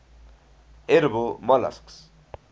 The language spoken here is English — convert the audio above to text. edible molluscs